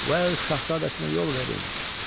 Uəll Şahzadəsinə yol verin.